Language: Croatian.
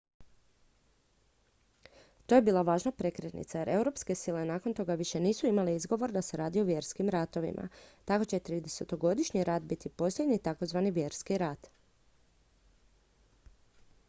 to je bila važna prekretnica jer europske sile nakon toga više nisu imale izgovor da se radi o vjerskim ratovima tako će tridesetogodišnji rat biti posljednji takozvani vjerski rat